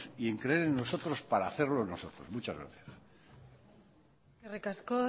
y en creer en nosotros para hacerlo nosotros muchas gracias eskerrik asko